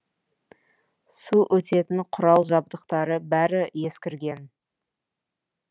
су өтетін құрал жабдықтары бәрі ескірген